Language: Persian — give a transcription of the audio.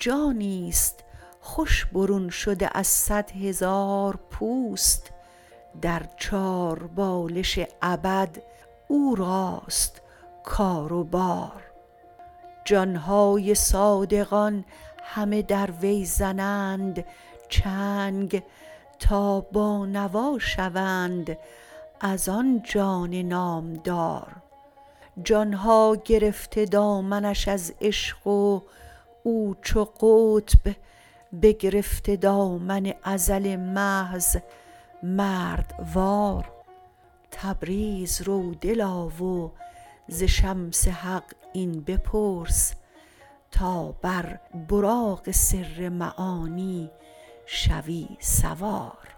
جانیست خوش برون شده از صد هزار پوست در چاربالش ابد او راست کار و بار جان های صادقان همه در وی زنند چنگ تا بانوا شوند از آن جان نامدار جان ها گرفته دامنش از عشق و او چو قطب بگرفته دامن ازل محض مردوار تبریز رو دلا و ز شمس حق این بپرس تا بر براق سر معانی شوی سوار